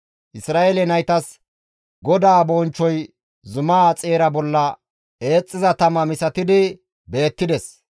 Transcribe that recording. Isra7eele naytas GODAA bonchchoy zumaa xeeran eexxiza tama misatidi beettides.